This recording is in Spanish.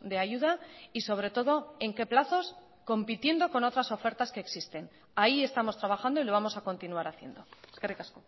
de ayuda y sobre todo en qué plazos compitiendo con otras ofertas que existen ahí estamos trabajando y lo vamos a continuar haciendo eskerrik asko